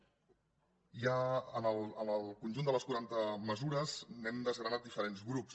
ja en el conjunt de les quaranta mesures n’hem desgranat diferents grups